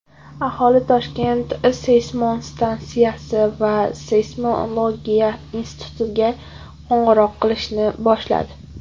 Aholi ‘Toshkent’ seysmostansiyasi va Seysmologiya institutiga qo‘ng‘iroq qilishni boshladi.